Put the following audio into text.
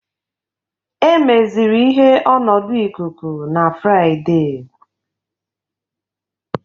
Emeziri ihe ọnọdụ ikuku na Fraịde